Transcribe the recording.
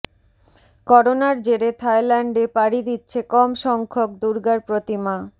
করোনার জেরে থাইল্যান্ডে পাড়ি দিচ্ছে কম সংখ্যক দুর্গার প্রতিমা